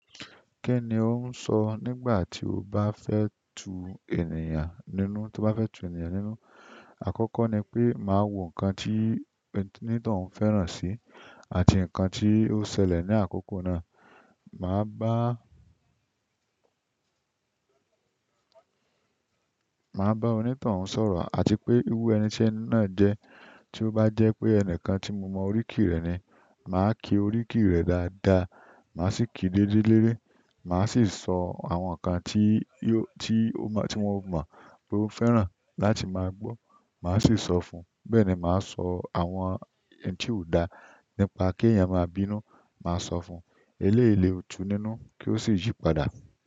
Kí ni o ń sọ nígbà tí o bá fẹ́ tu ènìyàn nínú? Tí o bá fẹ́ tu ènìyàn nínú, àkọ́kọ́ ni pé màá wo ǹkan tí onítan uń fẹ́ràn sí àti ǹkan tí ó ṣẹlẹ̀ ní àkókò náà. Màá bá, màá bá onítàn un sọ̀rọ̀ àti pé eru ẹni tí ẹni náà jẹ́. Tí ó bá jẹ́ pé ẹni kan tí mo mọ oríkì rẹ̀ ni, màá kí oríkì rẹ̀ dáadáa. Màá sì kí déle dele, màá sì sọ àwọn ǹkan tí ó, tí ó mọ, tí wọ́n mọ pé ó fẹ́ràn láti máa gbọ́. Màá sì sọ fún un. Bẹ́ẹ̀ ni màá sọ àwọn ẹni tí ó dá nípa kí èèyàn máa bínú, màá sọ fún un. Eléyi le tu nínú kí ó sì yípadà.